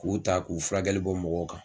K'u ta k'u filakɛli bɔ mɔgɔw kan.